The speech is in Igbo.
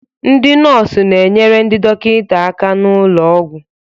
Ndị nọọsụ na-enyere ndị dọkịta aka n'ụlọ ọgwụ